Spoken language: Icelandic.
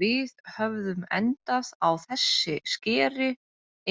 Við höfðum endað á þessi skeri